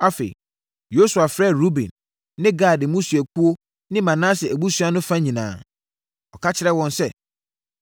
Afei Yosua frɛɛ Ruben ne Gad mmusuakuo ne Manase abusua no fa nyinaa. Ɔka kyerɛɛ wɔn sɛ,